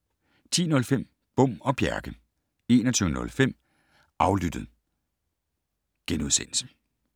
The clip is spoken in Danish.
10:05: Bom og Bjerke 21:05: Aflyttet *